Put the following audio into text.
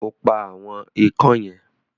O pa “àwọn ikán" yẹn?